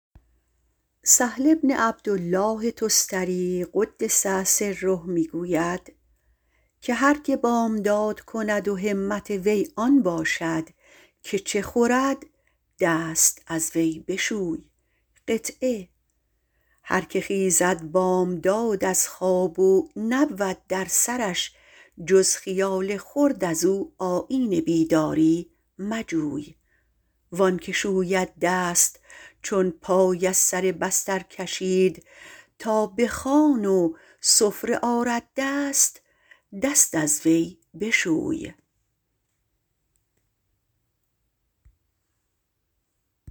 سهل عبدالله تستری - قدس سره - می گوید که هر که بامداد کند و همت وی آن باشد که چه خورد دست از وی بشوی هرکه خیزد بامداد از خواب و نبود در سرش جز خیال خورد ازو آیین بیداری مجوی وانکه شوید دست چون پای از سر بستر کشید تا به خوان و سفره آرد دست دست از وی بشوی